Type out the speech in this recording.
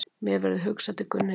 Mér verður hugsað til Gunnhildar.